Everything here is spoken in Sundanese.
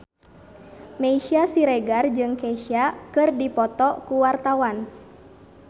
Meisya Siregar jeung Kesha keur dipoto ku wartawan